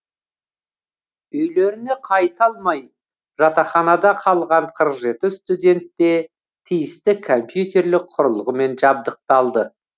үйлеріне қайта алмай жатақханада қалған қырық жеті студент те тиісті компьютерлік құрылғымен жабдықталды